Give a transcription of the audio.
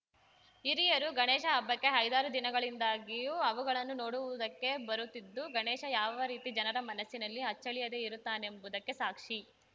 ಹಿರಿಯರು ಗಣೇಶ ಹಬ್ಬಕ್ಕೆ ಐದಾರು ದಿನಗಳಿಂದ್ದಾಗಿಯೂ ಅವುಗಳನ್ನು ನೋಡುವುದಕ್ಕೆ ಬರುತ್ತಿದ್ದು ಗಣೇಶ ಯಾವ ರೀತಿ ಜನರ ಮನಸ್ಸಿನಲ್ಲಿ ಅಚ್ಚಳಿಯದೇ ಇರುತ್ತಾನೆಂಬುದಕ್ಕೆ ಸಾಕ್ಷಿ